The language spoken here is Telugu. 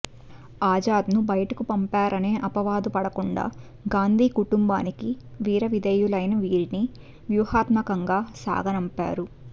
ఆజాద్ను బయటకు పంపారనే అపవాదు పడకుండా గాంధీ కుటుంబానికి వీరవిధేయులైన వీరిని వ్యూహాత్మకంగా సాగనంపారు